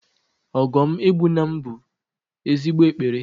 Ogo m egbuna m bu ezigbo ekpere